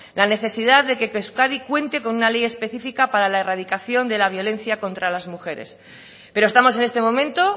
la necesidad de que euskadi cuente con una ley específica para la erradicación de la violencia contra las mujeres pero estamos en este momento